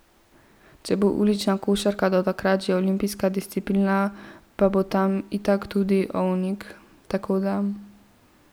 Če bo ulična košarka do takrat že olimpijska disciplina, pa bo tam itak tudi Ovnik, tako da ...